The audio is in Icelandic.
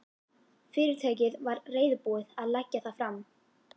Fyrirtækið væri reiðubúið að leggja það fram.